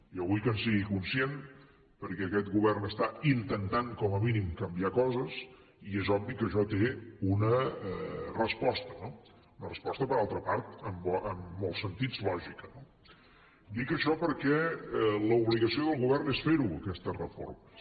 jo vull que en sigui conscient perquè aquest govern està intentant com a mínim canviar coses i és obvi que això té una resposta no una resposta per altra part en molts sentits lògica no dic això perquè l’obligació del govern és fer les aquestes reformes